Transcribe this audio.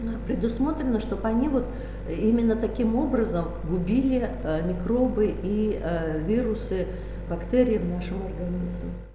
предусмотрено чтоб они вот именно таким образом губили микробы и вирусы бактерии в нашем организме